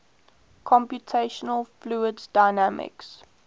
computational fluid dynamics